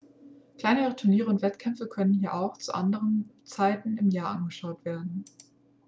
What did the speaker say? kleinere turniere und wettkämpfe können hier auch zu anderen zeiten im jahr angeschaut werden.x